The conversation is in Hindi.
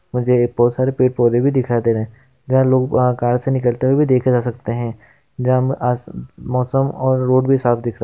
मुझे बहुत सारे पेड़ पौधे भी दिखा दे हैंलोग कार से निकलते हुए भी देखा जा सकते हैं जब आज मौसम और रोड भी साफ दिखा।